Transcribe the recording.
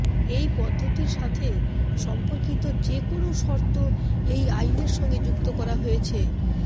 এই পদ্ধতির সাথে সম্পর্কিত যে কোনও শর্ত এই আইনের সঙ্গে যুক্ত করা হয়েছে